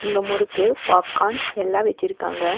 இங்க முறுக்கு பாப்கார்ன் எல்லா வச்சிருக்காங்க.